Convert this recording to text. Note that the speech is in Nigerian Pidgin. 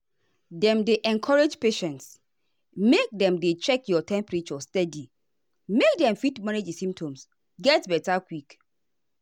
dem dey encourage patients make dem dey check your temperature steady make dem fit manage di symptoms get beta quick.